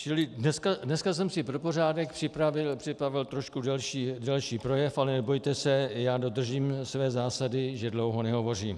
Čili dneska jsem si pro pořádek připravil trošku delší projev, ale nebojte se, já dodržím své zásady, že dlouho nehovořím.